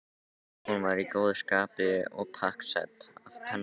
Hún var í góðu skapi og pakksödd af pönnukökum.